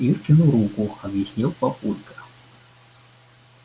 иркину руку объяснил папулька